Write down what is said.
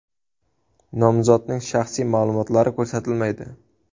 Nomzodning shaxsiy ma’lumotlari ko‘rsatilmaydi.